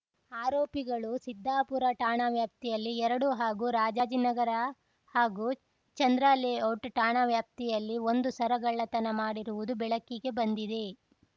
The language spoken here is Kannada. ಆರೋಪಿಗಳು ಸಿದ್ಧಾಪುರ ಠಾಣಾ ವ್ಯಾಪ್ತಿಯಲ್ಲಿ ಎರಡು ಹಾಗೂ ರಾಜಾಜಿನಗರ ಹಾಗೂ ಚಂದ್ರಲೇಔಟ್‌ ಠಾಣಾ ವ್ಯಾಪ್ತಿಯಲ್ಲಿ ಒಂದು ಸರ ಗಳ್ಳತನ ಮಾಡಿರುವುದು ಬೆಳಕಿಗೆ ಬಂದಿದೆ